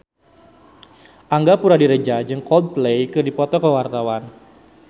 Angga Puradiredja jeung Coldplay keur dipoto ku wartawan